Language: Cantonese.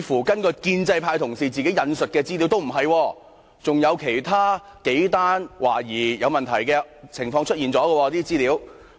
根據建制派同事自己引述的資料，似乎並不是，還有其他數宗懷疑有問題的個案曾經出現。